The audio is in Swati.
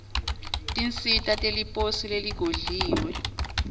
tinsita teliposi leligodliwe